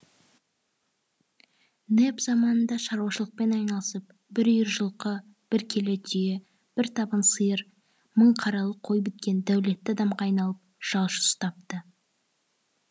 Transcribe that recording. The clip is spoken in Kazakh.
нэп заманында шаруашылықпен айналысып бір үйір жылқы бір келе түйе бір табын сиыр мың қаралы қой біткен дәулетті адамға айналып жалшы ұстапты